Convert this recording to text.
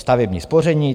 Stavební spoření.